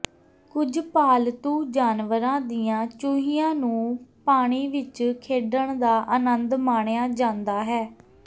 ਕੁਝ ਪਾਲਤੂ ਜਾਨਵਰਾਂ ਦੀਆਂ ਚੂਹੀਆਂ ਨੂੰ ਪਾਣੀ ਵਿਚ ਖੇਡਣ ਦਾ ਅਨੰਦ ਮਾਣਿਆ ਜਾਂਦਾ ਹੈ